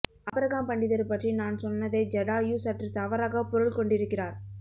Abraham Pandithar பற்றி நான் சொன்னதை ஜடாயு சற்று தவறாக பொருள்கொண்டிருக்கிறார்